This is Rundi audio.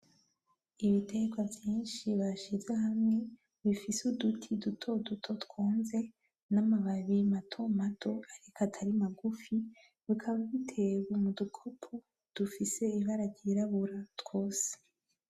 Ibiterwa vyinshi bashinze hamwe bifise uduti dutoduto twonze, na mababi matomato ariko atari magufi, bikaba bitewe mudukobo dufise ibara ryirabura twose.